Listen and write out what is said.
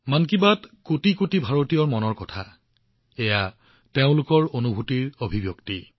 মন কী বাত হৈছে কোটি কোটি ভাৰতীয়ৰ মন কী বাত এয়া তেওঁলোকৰ অনুভূতিৰ অভিব্যক্তি